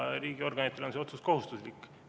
Riigiorganitele on see otsus kohustuslik.